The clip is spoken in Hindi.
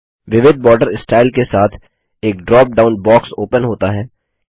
विविध बॉर्डर स्टाइल के साथ एक ड्रॉप डाउन बॉक्स ओपन होता है